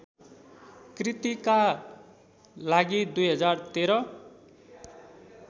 कृतिका लागि २०१३